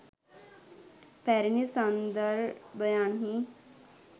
පැරණි සංදර්භයන්හි